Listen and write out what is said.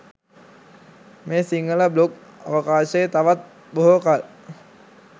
මේ සිංහල බ්ලොග් අවකාශයේ තවත් බොහෝ කල්